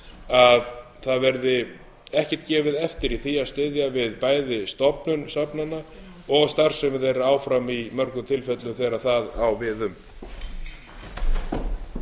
að það verði ekkert gefið eftir í því að styðja við bæði stofnun safnanna og starfsemi þeirra áfram í mörgum tilfellum þegar það